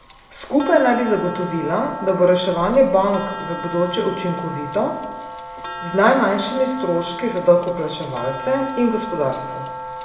Skupaj naj bi zagotovila, da bo reševanje bank v bodoče učinkovito, z najmanjšimi stroški za davkoplačevalce in gospodarstvo.